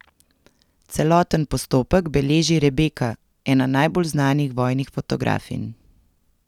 Celoten postopek beleži Rebeka, ena najbolj znanih vojnih fotografinj.